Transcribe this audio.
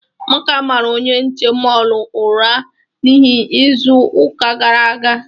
Amaka mara onye nche mọọlụ ụra n'ihu n'izu ụka gara aga.